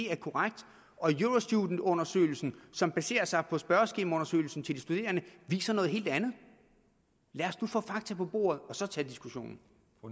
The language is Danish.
er korrekt og eurostudentundersøgelsen som baserer sig på spørgeskemaundersøgelsen til de studerende viser noget helt andet lad os nu få fakta på bordet og så tage diskussionen